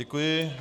Děkuji.